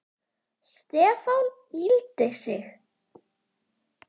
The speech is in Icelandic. Stefán yggldi sig.